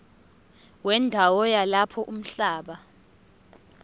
wendawo yalapho umhlaba